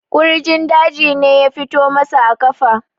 kurjin daji ne ya fito masa a kafa